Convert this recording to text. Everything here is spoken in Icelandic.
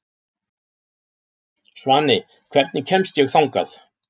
Svani, hvernig kemst ég þangað?